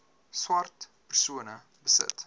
swart persone besit